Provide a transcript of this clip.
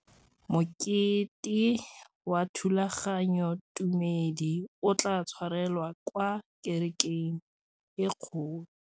Mokete wa thulaganyôtumêdi o tla tshwarelwa kwa kerekeng e kgolo.